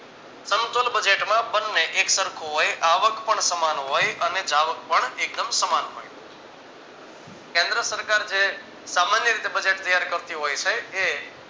સમતોલ budget બંને એક સરખું હોય આવક પણ સમાન હોય અને જાવક પણ એકદમ સમાન હોય. કેન્દ્રસરકાર જે સામાન્ય રીતે budget ત્યાર કરતી હોય છે એ